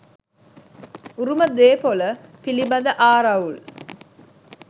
උරුම දේපොල පිළිබඳ ආරවුල්